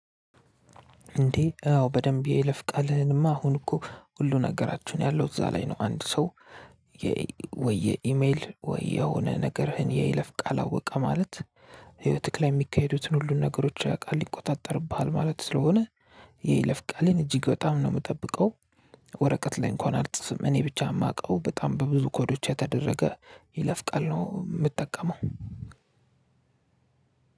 እንዴ አዎ በደንብ የለፍቃልህንማ አሁን እኮ ሁሉ ነገራችሁን ያለው እዛ ላይ ነው አንድ ሰው። ወይ የኢሜል ወይ የሆነ ነገርህን የይለፍ ቃል አወቀ ማለት ህይወትህ ላይ እሚካሄዱትን ሁሉን ነገሮች ያውቃል ይቆጣጠርብሃል ማለት ስለሆነ። የይለፍ ለፍቃሌን እጅግ በጣም ነው የምጠብቀው። ወረቀት ላይ እንኳን አልጽፍም እኔ ብቻ እማውቀው በጣም በብዙ ኮዶች የተደረገ የይለፍ ቃል ነው እምጠቀመው።